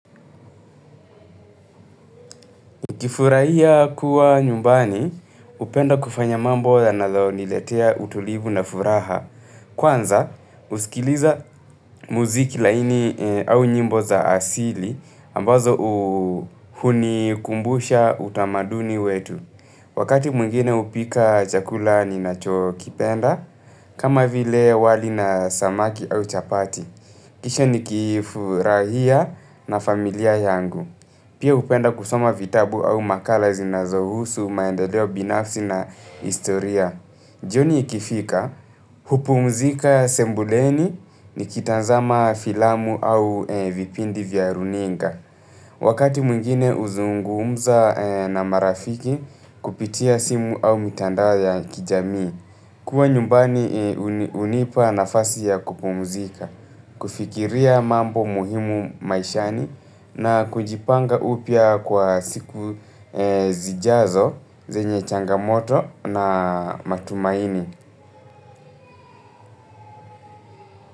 Kifurahia kuwa nyumbani, hupenda kufanya mambo yanayoniletea utulivu na furaha. Kwanza, husikiliza muziki laini au nyimbo za asili, ambazo hunikumbusha utamaduni wetu. Wakati mwngine hupika chakula ninacho kipenda, kama vile wali na samaki au chapati. Kisha nikifurahia na familia yangu. Pia hupenda kusoma vitabu au makala zinazohusu, maendeleo binafsi na historia. Jioni ikifika, hupumzika sebuleni nikitazama filamu au vipindi vya runinga. Wakati mwingine huzungumza na marafiki kupitia simu au mitandao ya kijamii. Kuwa nyumbani hunipa nafasi ya kupumuzika, kufikiria mambo muhimu maishani na kujipanga upya kwa siku zijazo, zenye changamoto na matumaini.